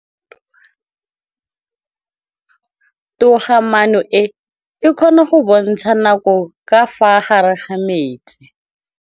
Toga-maanô e, e kgona go bontsha nakô ka fa gare ga metsi.